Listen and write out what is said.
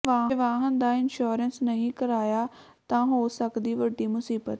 ਜੇ ਵਾਹਨ ਦਾ ਇੰਸ਼ੋਰੈਂਸ ਨਹੀਂ ਕਰਾਇਆ ਤਾਂ ਹੋ ਸਕਦੀ ਵੱਡੀ ਮੁਸੀਬਤ